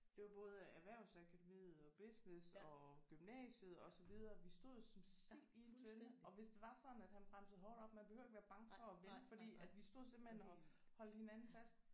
Det var både erhvervsakademiet og business og gymnasiet og så videre vi stod jo som sild i en tønde og hvis det var sådan at han bremsede hårdt op man behøvede ikke være bange for at vælte fordi at vi stod simpelthen og holdt hinanden fast